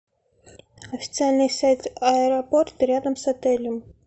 официальный сайт аэропорт рядом с отелем